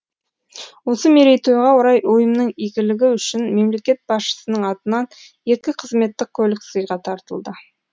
осы мерейтойға орай ұйымның игілігі үшін мемлекет басшысының атынан екі қызметтік көлік сыйға тартылды